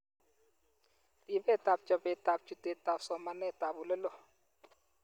Ripetab chobetab chutetab somanetab oleloo